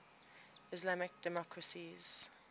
islamic democracies